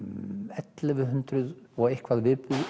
ellefu hundruð og eitthvað